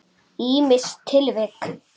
Ýmis tilvik.